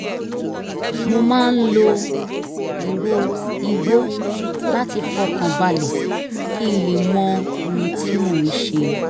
mo máa ń lo ìró igbó láti fọkàn balẹ̀ kí n lè mọ ohun tí mo ń ṣe